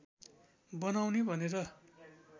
बनाउने भनेर